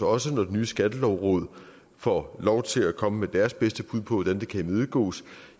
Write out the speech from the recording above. også når det nye skattelovråd får lov til at komme med deres bedste bud på hvordan det kan imødegås